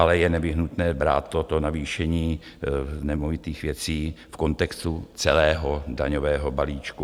Ale je nevyhnutné brát toto navýšení nemovitých věcí v kontextu celého daňového balíčku.